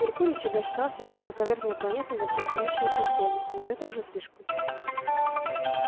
меркурий всегда считался самой каверзной планетой во всей солнечной системе но это уже слишком